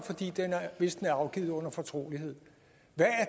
hvis den er afgivet under fortrolighed hvad